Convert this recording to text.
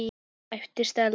æpti Stella.